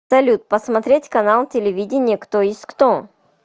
салют посмотреть канал телевидения кто есть кто